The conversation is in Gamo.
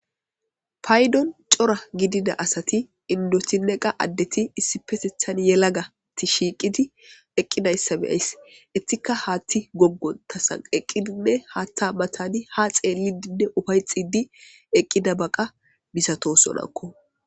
paydon cora gidida asati indoti neqa addeti issipesethan yelagati shiiqidi eqqidayssa beyays ettika haatti goggon tasan eqqidinne haatta matani ha xeellidinne ufayxidi eqqida baqa bisato sonakko.